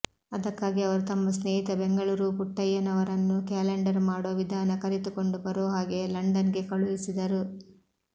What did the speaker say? ಅದಕ್ಕಾಗಿ ಅವರು ತಮ್ಮ ಸ್ನೇಹಿತ ಬೆಂಗಳೂರು ಪುಟ್ಟಯ್ಯನವರನ್ನು ಕ್ಯಾಲೆಂಡರ್ ಮಾಡೋ ವಿಧಾನ ಕಲಿತು ಕೊಂಡು ಬರೋ ಹಾಗೆ ಲಂಡನ್ಗೆ ಕಳುಹಿಸಿದರು